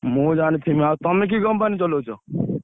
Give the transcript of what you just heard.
ମୁଁ ଜାଣିଥିବି ଆଉ ତମେ କି company ଚଲଉଛ?